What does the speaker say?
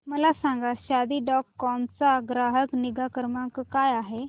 मला सांगा Shaadi dot com चा ग्राहक निगा क्रमांक काय आहे